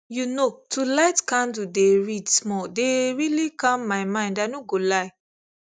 you know to light candle dey read small dey really calm my mind i no go lie